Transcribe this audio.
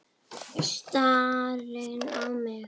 Stari á mig.